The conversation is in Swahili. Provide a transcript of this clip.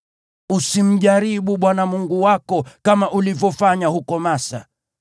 Usimjaribu Bwana Mungu wako kama ulivyofanya huko Masa.